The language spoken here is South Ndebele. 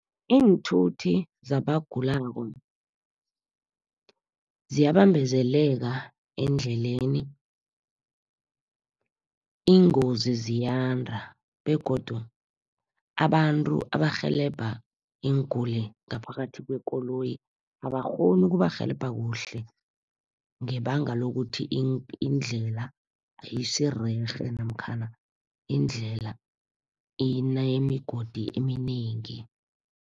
Iinthuthi zabagulako, ziyabambezeleka endleleni. Iingozi ziyanda begodu abantu abarhelebha iinguli ngaphakathi kwekoloyi, abakghoni ukubarhelebha kuhle, ngebanga lokuthi indlela ayisirerhe namkhana indlela inemigodi eminengi.